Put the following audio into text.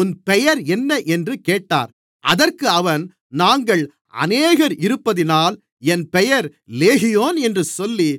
உன் பெயர் என்ன என்று கேட்டார் அதற்கு அவன் நாங்கள் அநேகர் இருப்பதினால் என் பெயர் லேகியோன் என்று சொல்லி